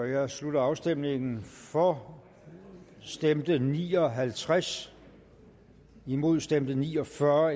jeg slutter afstemningen for stemte ni og halvtreds imod stemte ni og fyrre